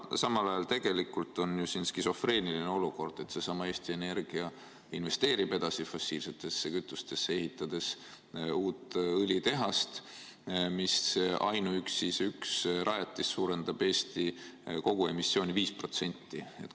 Samal ajal tegelikult on ju skisofreeniline olukord: seesama Eesti Energia investeerib edasi fossiilsetesse kütustesse, ehitades uut õlitehast, aga ainuüksi see üks rajatis suurendab Eesti emissiooni 5%.